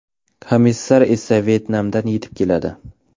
Komissar esa Vyetnamdan yetib keladi.